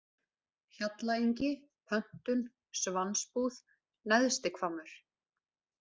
Hjallaengi, Pöntun, Svansbúð, Neðsti-Hvammur